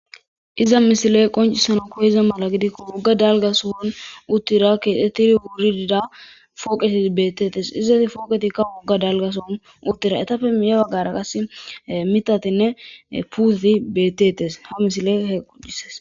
iza misile qoncisana ko iza mala gidikko wogga dalgasoon uttira keetettiri wuuridida fooqeti bettetes izati fooqetikka wogga dalgasoon uttira etappe miya baggara qas mitatinne puuti bettetes ha misile he qoccies